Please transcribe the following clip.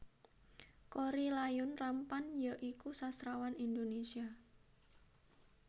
Korrie Layun Rampan ya iku sastrawan Indonésia